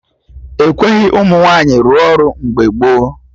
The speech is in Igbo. Ekweghị ụmụ nwaanyị rụọ ọrụ mgbe gboo